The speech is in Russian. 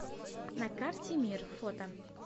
на карте мир фото